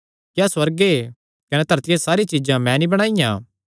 क्या सुअर्गे कने धरतिया च सारी चीज्जां मैं नीं बणाईयां